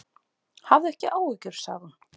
Hafðu ekki áhyggjur, sagði hún.